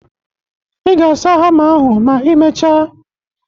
Ị ga-asa hama ahụ ma ị mechaa